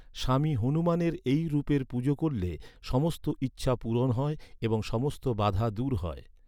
স্বামী হনুমানের এই রূপের পূজা করলে, সমস্ত ইচ্ছা পূরণ হয় এবং সমস্ত বাধা দূর হয়।